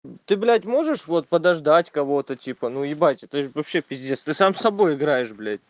ты блять можешь вот подождать кого-то типа ну ебать это же вообще пиздец ты сам с собой играешь блять